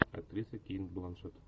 актриса кейт бланшетт